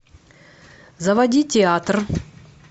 заводи театр